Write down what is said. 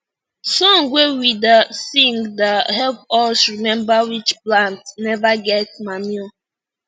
song wey we da sing da help us remember which plant never get manure